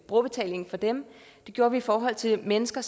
brugerbetalingen for dem det gjorde vi i forhold til mennesker